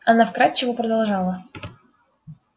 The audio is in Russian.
она вкрадчиво продолжала